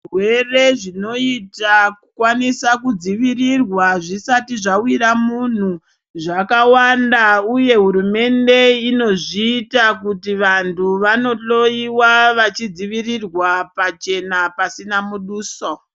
Zvirwere zvinoita kukwanisa kudzivirirwa zvisati zvawira munhu zvakawanda uye hurumende inozviita kuti vantu vanohloyiwa vachidzivirirwa pachenapasina muduso.